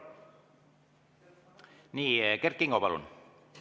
Nii, Kert Kingo, palun!